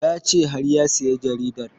Ya ce har ya saya jaridar